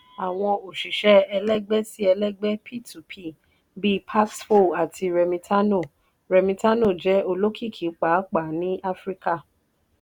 àwọn òṣìṣẹ́ ẹlẹgbẹ́-sí-ẹlẹgbẹ́ p to p bíi paxful àti remitano remitano jẹ́ olókìkí pàápàá ní áfíríkà.